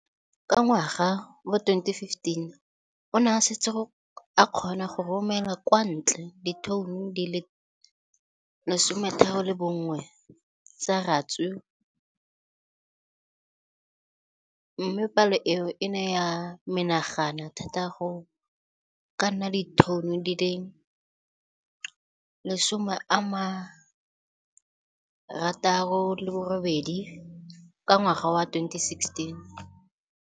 Ka ngwaga wa 2015, o ne a setse a kgona go romela kwa ntle ditone di le 31 tsa ratsuru mme palo eno e ne ya menagana thata go ka nna ditone di le 168 ka ngwaga wa 2016.